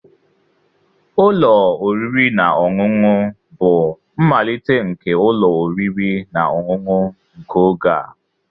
Ụlọ oriri na ọṅụṅụ bụ mmalite nke ụlọ oriri na ọṅụṅụ nke oge a